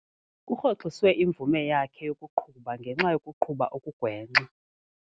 Kurhoxiswe imvume yakhe yokuqhuba ngenxa yokuqhuba okugwenxa.